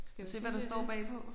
Skal vi se hvad der står bagpå?